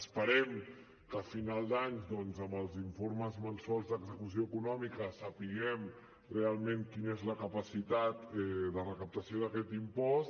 esperem que a final d’any doncs amb els informes mensuals d’execució econòmica sapiguem realment quina és la capacitat de recaptació d’aquest impost